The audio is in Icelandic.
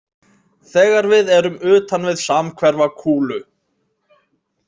Þegar við erum utan við samhverfa kúlu.